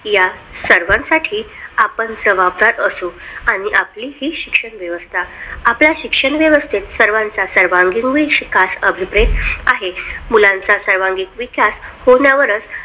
या सर्वांसाठी आपण जबाबदार असू आणि आपली ही शिक्षण व्यवस्था आपल्या शिक्षण व्यवस्थेत सर्वांचा सर्वांगीण विकास अभिप्रेत आहे मुलांचा सर्वांगीण विकास होण्यावरच या सर्वांसाठी